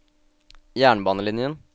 jernbanelinjen